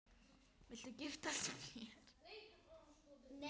Viltu giftast mér?